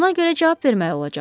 Buna görə cavab verməli olacaqsız.